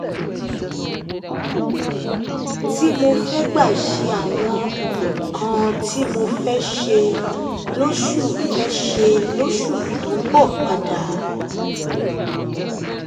tí mo fẹ́ gbà ṣe àwọn nǹkan tí mo fẹ́ ṣe lóṣù fẹ́ ṣe lóṣù tó ń bọ̀ padà